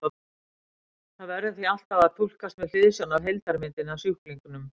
Það verður því alltaf að túlkast með hliðsjón af heildarmyndinni af sjúklingnum.